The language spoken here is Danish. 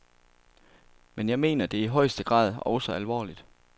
Men jeg mener det i højeste grad også alvorligt.